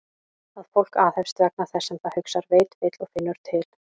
Að fólk aðhefst vegna þess sem það hugsar, veit, vill og finnur til?